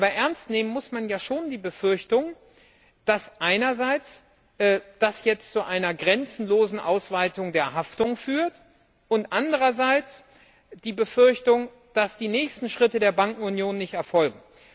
Aber ernst nehmen muss man ja schon die Befürchtung, dass einerseits das jetzt zu einer grenzenlosen Ausweitung der Haftung führt, und andererseits die Befürchtung, dass die nächsten Schritte der Bankenunion nicht erfolgen.